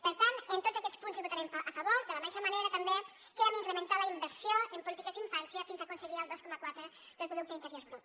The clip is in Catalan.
per tant en tots aquests punts hi votarem a favor de la mateixa manera també que hem incrementat la inversió en polítiques d’infància fins a aconseguir el dos coma quatre del producte interior brut